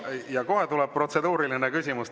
Ja kohe tuleb protseduuriline küsimus.